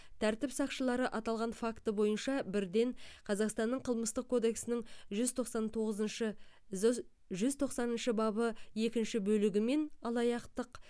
тәртіп сақшылары аталған факті бойынша бірден қазақстанның қылмыстық кодексінің жүз тоқсан тоғызыншы жз жүз тоқсаныншы бабы екінші бөлігімен алаяқтық